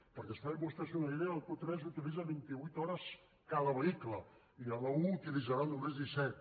perquè es facin vostès una idea el q3 utilitza vint i vuit hores cada vehicle i l’a1 n’utilitzarà només disset